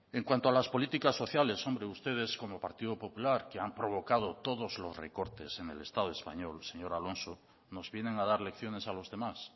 en cuanto a las políticas sociales hombre ustedes como partido popular que han provocado todos los recortes en el estado español señor alonso nos vienen a dar lecciones a los demás